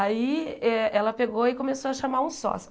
Aí eh ela pegou e começou a chamar um sócio.